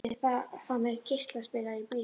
ég myndi bara fá mér geislaspilara í bílinn